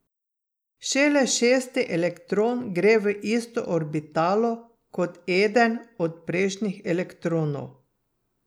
Šele šesti elektron gre v isto orbitalo kot eden od prejšnjih elektronov.